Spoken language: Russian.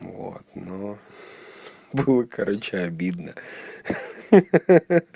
вот ну было короче обидно ха-ха-ха